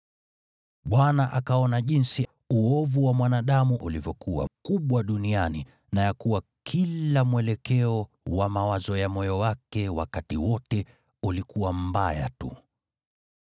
Bwana akaona jinsi uovu wa mwanadamu ulivyokuwa mkubwa duniani, na ya kuwa kila mwelekeo wa mawazo ya moyo wake wakati wote ulikuwa mbaya tu.